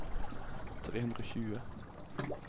tre hundre og tjue